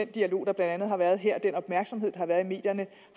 dialog der blandt andet har været her den opmærksomhed der har været i medierne